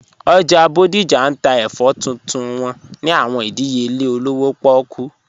Ojá Bodija n tà èfọ̀ tuntun wọn ni àwọn ìdíyèlè òlówó pọ̀kú